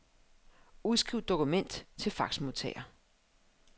Udskriv dokument til faxmodtager.